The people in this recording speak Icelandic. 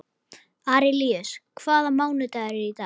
Arilíus, hvaða mánaðardagur er í dag?